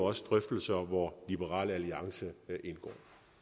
også drøftelser hvor liberal alliance indgår